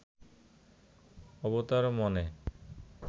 অবতার মনে